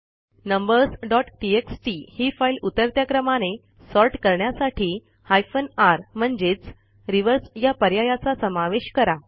numbers dot TXT ही file उतरत्या क्रमाने सॉर्ट करण्यासाठी हायफेन र म्हणजेच रिव्हर्स या पर्यायाचा समावेश करा